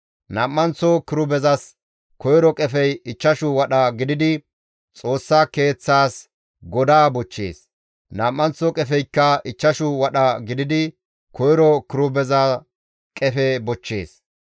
Nam7anththo kirubezas koyro qefey ichchashu wadha gididi, Xoossa Keeththaas godaa bochchees; nam7anththo qefeykka ichchashu wadha gididi koyro kirubeza qefe bochchees.